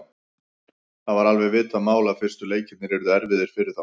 Það var alveg vitað mál að fyrstu leikirnir yrðu erfiðir fyrir þá.